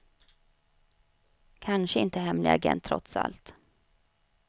Kanske inte hemlig agent, trots allt.